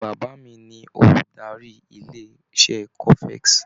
Bàbá mi ni olùdarí ilé-iṣé cofex.